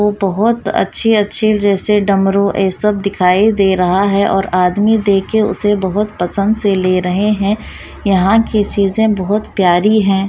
बहुत अच्छे अच्छे डमरू ये सब दिखाई दे रहा है और आदमी देख के उसे बहुत पसंद से ले रहे हैं यहां की चीज़ें बहुत प्यारी हैं।